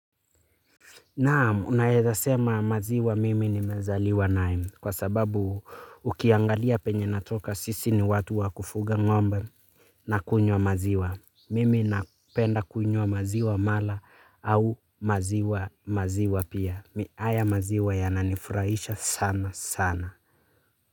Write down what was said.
Naamu, unaeza sema maziwa mimi nimezaliwa naye kwa sababu ukiangalia penye natoka sisi ni watu wa kufuga ngombe nakunywa maziwa. Mimi napenda kunywa maziwa mala au maziwa maziwa pia. Haya maziwa yananifurahisha sana sana.